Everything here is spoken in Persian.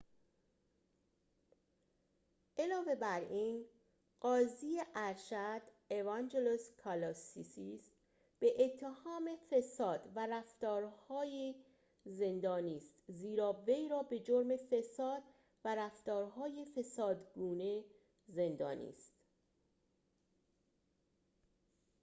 علاوه بر این قاضی ارشد اوانجلوس کالوسیس به اتهام فساد و رفتار‌های زندانی است زیرا وی را به جرم فساد و رفتارهای فسادگونه زندانی است